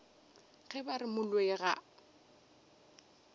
ge ba re moloi ga